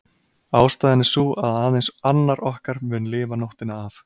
Ástæðan er sú að aðeins annar okkar mun lifa nóttina af.